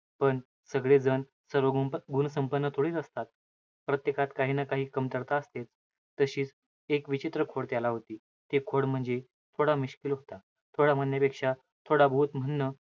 पण सगळे जण, सर्वगुप~ गुणसंपन्न थोडीच असतात. प्रत्येकात काही ना काही, कमतरता असते. तशीच एक विचित्र खोड त्याला होती. ते खोड म्हणजे, थोडा मिश्किल होता. थोडा म्हणण्यापेक्षा थोडाबहुत म्हणणं,